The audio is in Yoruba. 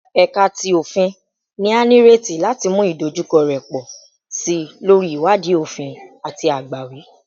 Ẹka ti Ofin ni a nireti lati mu idojukọ rẹ pọ si lori iwadii ofin ati agbawi